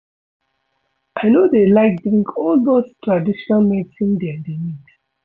I no dey like drink all those traditional medicine dem dey mix